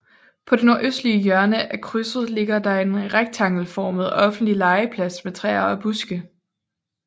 På det nordøstlige hjørne af krydset ligger der en rektangelformet offentlig legeplads med træer og buske